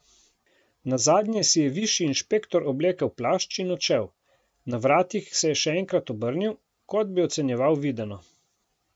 Nazadnje si je višji inšpektor oblekel plašč in odšel, na vratih se je še enkrat obrnil, kot bi ocenjeval videno.